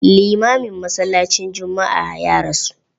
Limamin masallacin juma'a ya rasu.